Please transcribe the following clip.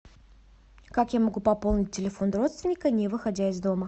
как я могу пополнить телефон родственника не выходя из дома